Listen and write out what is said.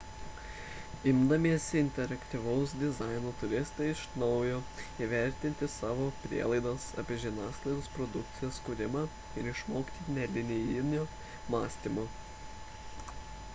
imdamiesi interaktyvaus dizaino turėsite iš naujo įvertinti savo prielaidas apie žiniasklaidos produkcijos kūrimą ir išmokti nelinijinio mąstymo